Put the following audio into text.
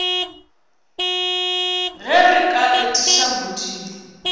ge re ka etiša modimo